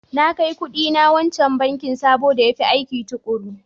Na kai kuɗina wancan bankin sabo da ya fi aikin tukuru.